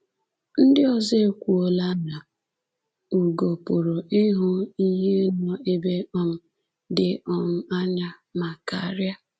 Ndị ọzọ ekwuola na ugo pụrụ ịhụ ihe nọ ebe um dị um anya ma karịa!